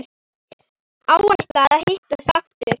Áætlað að hittast aftur?